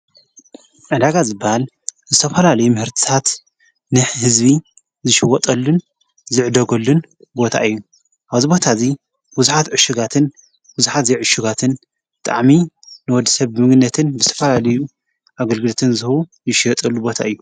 ዕዳጋ ዝባል ብዝተፈላልይ ምህርታት ንሕ ሕዝቢ ዝሽወጠሉን ዝዕደጐሉን እዩ። እዩ ኣወዝቦታ እዙይ ውዙኃት ዕሽጋትን ውዙኃት ዘይዕሽጋትን ጠዕሚ ንወድ ሰብ ምግነትን ብስተፈላልዩ ኣግልግድትን ዝሁ ይሽወጠሉ ቦታ እዩ